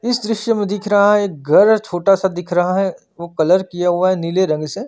इस दृश्य में दिख रहा है घर छोटा सा दिख रहा है वो कलर किया हुआ है नील रंग से --